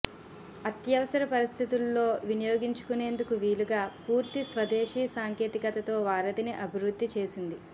అత్యవసర పరిస్థితుల్లో వినియోగించుకునేందుకు వీలుగా పూర్తి స్వదేశీ సాంకేతికతతో వారధిని అభివృద్ధి చేసింది